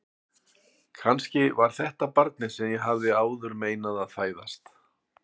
Kannski var þetta barnið sem ég hafði áður meinað að fæðast.